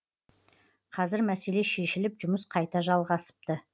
қазір мәселе шешіліп жұмыс қайта жалғасыпты